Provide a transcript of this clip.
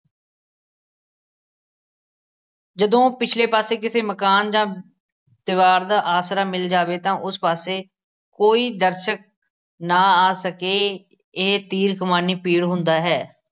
ਜਦੋਂ ਪਿਛਲੇ ਪਾਸੇ ਕਿਸੇ ਮਕਾਨ ਜਾਂ ਦੀਵਾਰ ਦਾ ਆਸਰਾ ਮਿਲ ਜਾਵੇ ਤਾਂ ਉਸ ਪਾਸੇ ਕੋਈ ਦਰਸ਼ਕ ਨਾ ਆ ਸਕੇ ਇਹ ਤੀਰ ਕਮਾਨੀ ਪੀੜ ਹੁੰਦਾ ਹੈ।